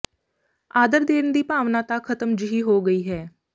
ਆਦਰ ਦੇਣ ਦੀ ਭਾਵਨਾ ਤਾਂ ਖਤਮ ਜਿਹੀ ਹੋ ਗਈ ਹੈ